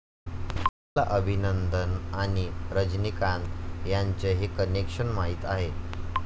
तुम्हाला अभिनंदन आणि रजनीकांत यांचं हे कनेक्शन माहीत आहे?